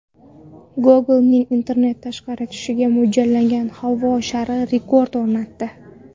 Google’ning internet tarqatishga mo‘ljallangan havo shari rekord o‘rnatdi .